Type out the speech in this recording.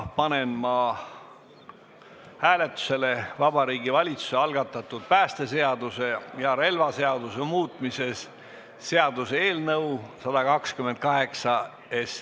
Panen hääletusele Vabariigi Valitsuse algatatud päästeseaduse ja relvaseaduse muutmise seaduse eelnõu.